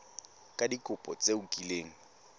ka dikopo tse o kileng